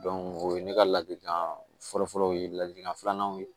o ye ne ka ladikan fɔlɔfɔlɔ ye ladilikan filananw ye